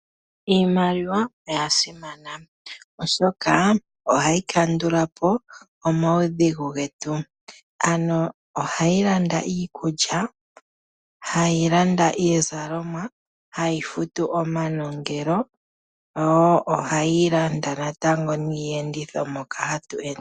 Iimaliwa oya simana oshoka ohayi kandula po omaudhigu getu ohayi landa iikulya, hayi landa iizalomwa, hayi futu omanongelo yo ohayi landa natango niienditho moka hatu ende.